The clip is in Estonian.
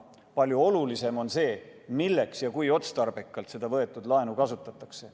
Palju olulisem on see, milleks ja kui otstarbekalt seda võetud laenu kasutatakse.